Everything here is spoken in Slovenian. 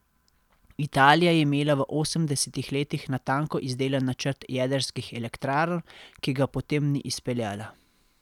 Italija je imela v osemdesetih letih natanko izdelan načrt jedrskih elektrarn, ki ga potem ni izpeljala.